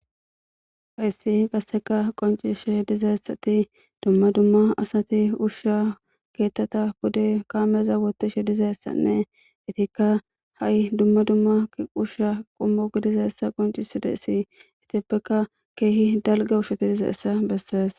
Hayis qasse qoncidayisi dizayisatiduma duma duma assati usha eqata pude kameza bolla wothishe dizayisanne etikka hayi duma duma usha qommo gidizayisa qoncisizayis etapeka kehi daligga ushati dizayissa bessesi